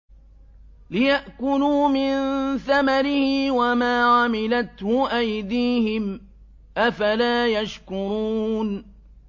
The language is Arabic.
لِيَأْكُلُوا مِن ثَمَرِهِ وَمَا عَمِلَتْهُ أَيْدِيهِمْ ۖ أَفَلَا يَشْكُرُونَ